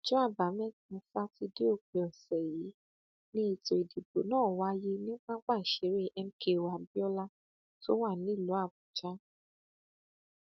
ọjọ àbámẹta sátidé òpin ọsẹ yìí ni ètò ìdìbò náà wáyé ní pápá ìṣeré mko abiola tó wà nílùú àbújá